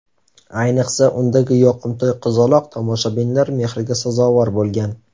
Ayniqsa, undagi yoqimtoy qizaloq tomoshabinlar mehriga sazovor bo‘lgan.